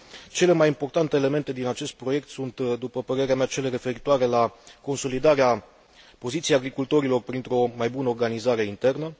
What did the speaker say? Cele mai importante elemente din acest proiect sunt, după părerea mea, cele referitoare la consolidarea poziției agricultorilor printr o mai bună organizare internă.